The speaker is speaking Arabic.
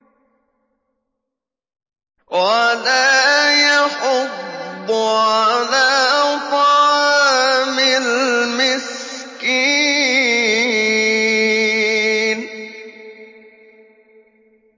وَلَا يَحُضُّ عَلَىٰ طَعَامِ الْمِسْكِينِ